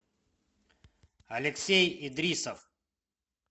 алексей идрисов